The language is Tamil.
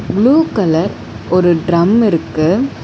ப்ளூ கலர் ஒரு டிரம் இருக்கு.